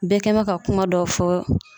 Bɛɛ kɛn bɛ ka kuma dɔ fɔ